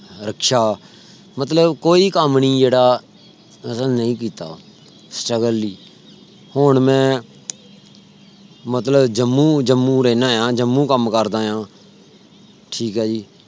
ਰਕਸ਼ਾ ਮਤਲਬ ਕੋਈ ਕਮ ਨਹੀਂ ਜੇੜਾ ਮੇਰਾ ਨਹੀਂ ਕੀਤਾ। struggle ਹੁਣ ਮੈਂ ਮਤਲਬ ਜੰਮੂ, ਜੰਮੂ ਰਹਿਣਾ ਆ। ਜੰਮੂ ਕਮ ਕਰਦਾ ਆ ਠੀਕ ਹੈ ਜੀ